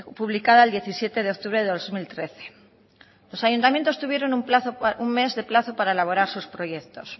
publicada el diecisiete de octubre del dos mil trece los ayuntamientos tuvieron un mes de plazo para elaborar sus proyectos